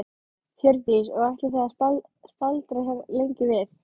Hjördís: Og ætlið þið að staldra lengi við?